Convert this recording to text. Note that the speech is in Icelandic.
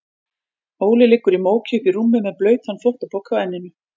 Óli liggur í móki uppí rúmi með blautan þvottapoka á enninu.